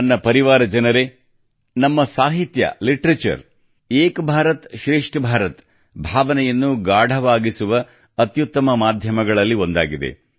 ನನ್ನ ಪರಿವಾರ ಜನರೆ ನಮ್ಮ ಸಾಹಿತ್ಯ ಲಿಟರೇಚರ್ ಏಕ್ ಭಾರತ ಶ್ರೇಷ್ಠ ಭಾರತ ಭಾವನೆಯನ್ನು ಗಾಢವಾಗಿಸುವ ಅತ್ಯುತ್ತಮ ಮಾಧ್ಯಮಗಳಲ್ಲಿ ಒಂದಾಗಿದೆ